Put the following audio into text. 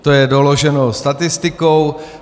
To je doloženo statistikou.